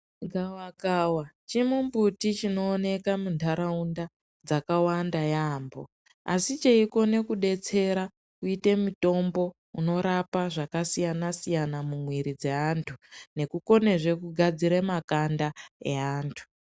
Gavakava chimumbuti chinooneka muntaraunda dzakawanda yaambo. Asi cheikona kudetsera kuite mutombo unorapa zvakasiyana-siyana mumwiri dzeantu, nekukonezve kugadzira makanda eantu.